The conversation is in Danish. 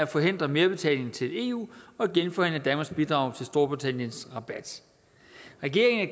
forhindre merbetaling til eu og genforhandle danmarks bidrag til storbritanniens rabat regeringen